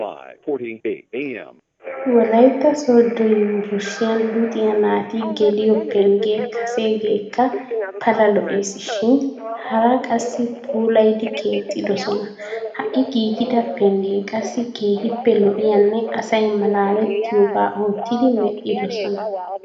Wolaytta sooddo yuunburshshiyan luxiyaa naati geliyoo penggee kaseegeekka pala lo"eesishin haraa qassi puulayidi keexxidosona. Ha"i giigida pengge qassi keehippe lo"iyaanne asay malaalettiyooga oottidi medhdhidosona.